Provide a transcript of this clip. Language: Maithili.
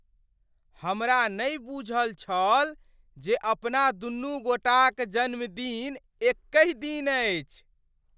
हमरा नहि बूझल छल जे अपना दुनू गोटाक जन्मदिन एकहि दिन अछि।